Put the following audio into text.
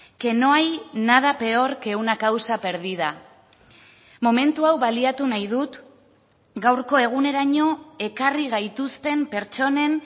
que no hay nada peor que una causa perdida momentu hau baliatu nahi dut gaurko eguneraino ekarri gaituzten pertsonen